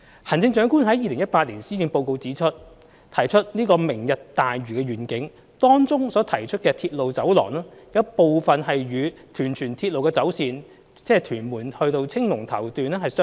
行政長官於2018年施政報告中提出"明日大嶼願景"，當中所提出的鐵路走廊有部分與屯荃鐵路的走線，即屯門至青龍頭段相若。